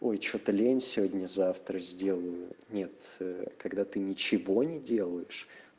ой что-то лень сегодня завтра сделаю нет ээ когда ты ничего не делаешь